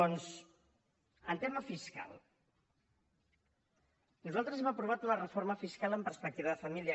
doncs en tema fiscal nosaltres hem aprovat una reforma fiscal en perspectiva de família